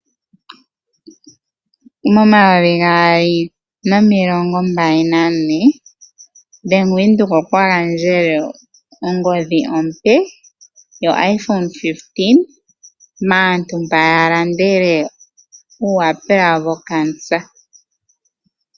Momayovi gaali nomilongombali nane ombaanga ya Venduka oya gandjele ongodhi ompe yo IPhone 15 maantu mba ya landele omayapula go kaankela.